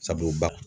Sabula ba